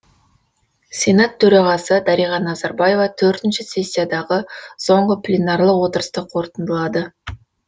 сенат төрағасы дариға назарбаева төртінші сессиядағы соңғы пленарлық отырысты қорытындылады